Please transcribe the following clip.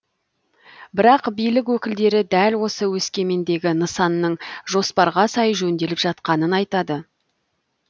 бірақ билік өкілдері дәл осы өскемендегі нысанның жоспарға сай жөнделіп жатқанын айтады